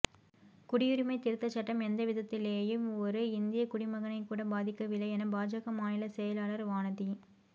குடியுரிமைத் திருத்தச் சட்டம் எந்தவிதத்திலேயும் ஒரு இந்தியக் குடிமகனைக்கூட பாதிக்கவில்லை என பாஜக மாநில செயலாளர் வானதி